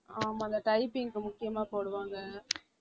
ஆமாம் அந்த typing க்கு முக்கியமா போடுவாங்க